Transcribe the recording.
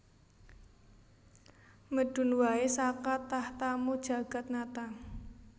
Medun wae saka tahtamu Jagatnata